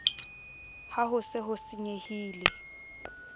ha ho se ho senyehile